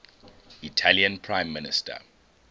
italian prime minister